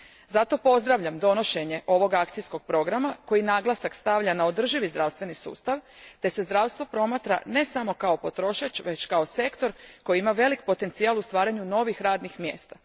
Zato pozdravljam donošenje ovog akcijskog programa koji naglasak stavlja na održivi zdravstveni sustav te se zdravstvo promatra ne samo kao potrošač, već kao sektor koji ima velik potencijal u stvaranju novih radnih mjesta.